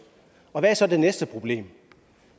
og hvad er så det næste problem